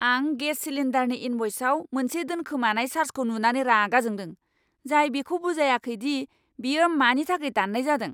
आं गेस सिलिन्डारनि इन्भ'इसाव मोनसे दोनखोमानाय चार्जखौ नुनानै रागा जोंदों, जाय बेखौ बुजायाखै दि बेयो मानि थाखाय दान्नाय जादों!